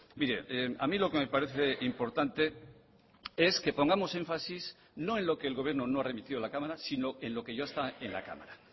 mire a mí lo que me parece importante es que pongamos énfasis no en lo que el gobierno no remitió a la cámara sino en lo que ya está en la cámara